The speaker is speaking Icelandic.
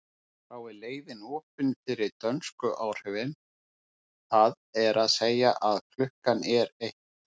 Þá er leiðin opin fyrir dönsku áhrifin, það er að segja að klukkan er eitt.